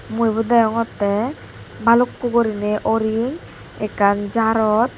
mui ibot deongottey balukko gurinei oring ekkan jarot.